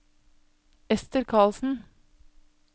Esther Carlsen